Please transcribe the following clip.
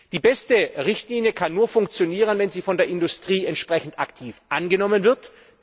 Die beste Richtlinie kann nur funktionieren, wenn sie von der Industrie aktiv angenommen wird.